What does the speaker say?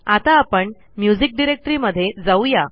आता आपण म्युझिक डिरेक्टरीमध्ये जाऊ या